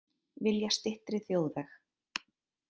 Vilja styttri þjóðveg